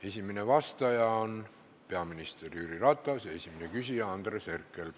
Esimene vastaja on peaminister Jüri Ratas ja esimene küsija Andres Herkel.